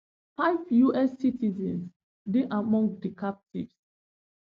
five us citizens dey among di captives